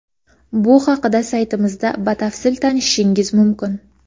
Bu haqida saytimizda batafsil tanishishingiz mumkin.